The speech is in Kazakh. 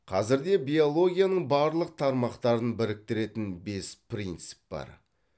қазірде биологияның барлық тармақтарын біріктіретін бес принцип бар